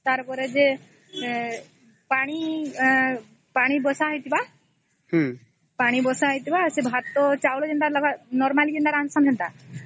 ପାଣି ବସା ହେଇଥିବା ପାଣି ବସା ହେଇଥିବା ସେ ଭାତ ଚାଉଳ କେମିତି normal କେମିତ ରନ୍ଧା ହେନ୍ତା